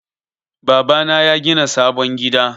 Baba na yagina sabon gida.